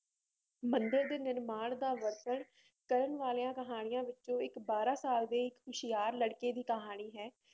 ਮੰਦਿਰ ਦੇ ਨਿਰਮਾਣ ਦਾ ਵਰਨਣ ਕਰਨ ਵਾਲੀਆਂ ਕਹਾਣੀਆਂ ਵਿੱਚੋਂ ਇੱਕ ਬਾਰਾਂ ਸਾਲ ਦੇ ਇੱਕ ਹੁਸ਼ਿਆਰ ਲੜਕੇ ਦੀ ਕਹਾਣੀ ਹੈ